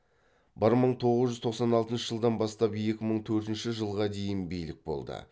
бір мың тоғыз жүз тоқсан алтыншы жылдан бастап екі мың төртінші жылға дейін билік болды